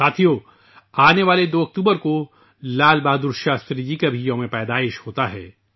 دوستو ، آنے والے 2 اکتوبر کو لال بہادر شاستری جی کا بھی یوم پیدائش ہے